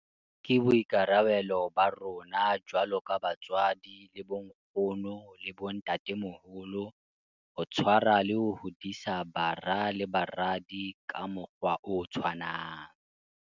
Ke boikarabelo ba rona jwalo ka batswadi le bonkgono le bontatemoholo ho tshwarwa le ho hodisa bara le baradi ka mokgwa o tshwanang.